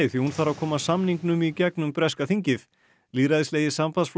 því hún þarf að koma samningnum í gegnum breska þingið lýðræðislegi